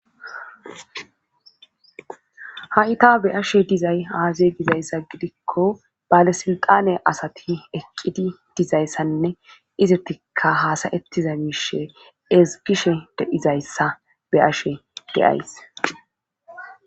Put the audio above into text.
Haita be ashe dizay haazey dizayssa gidikko bale silqane asati eqqidi dizayssanne izertikka haasayettiza miishe ezgishe deizayssa be ashe deyays.